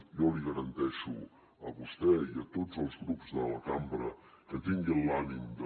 jo li garanteixo a vostè i a tots els grups de la cambra que tinguin l’ànim de